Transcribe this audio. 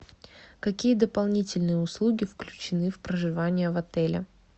какие дополнительные услуги включены в проживание в отеле